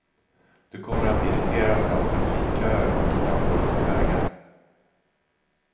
Du kommer att irriteras av trafikköer och ibland dåliga vägar.